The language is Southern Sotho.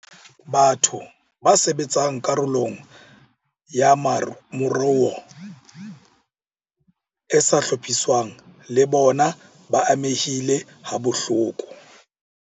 Batho ba sebetsang karolong ya moruo e sa hlophiswang le bona ba amehile habohloko.